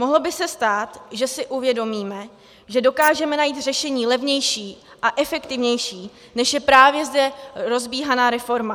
Mohlo by se stát, že si uvědomíme, že dokážeme najít řešení levnější a efektivnější, než je právě zde rozbíhaná reforma.